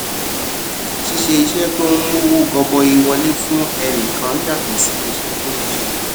ṣíṣe iṣé tó ń mówó gọbọi wọlé fún ẹnì kan yàtò sí iṣé tó ń ṣe